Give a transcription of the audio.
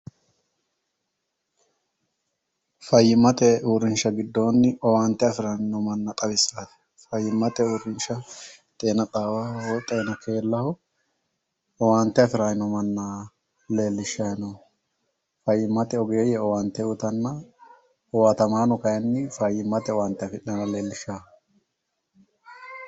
Fayyimate uurrinsha giddoni owante afirayiino manna xawissano. fayyimate uurrinsha xeena xawaho woyi xeena keellaho owante afirayiino manna leellishanno. fayyimate ogeeyye owante uyitanna owatamaano kayiinni fayyimate owaante afidhayinoota leelishano